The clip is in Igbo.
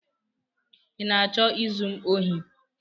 ị na-achọ izu m ohi?